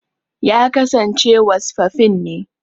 Ya kasance wasfafin ne.